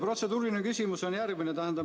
Protseduuriline küsimus on järgmine.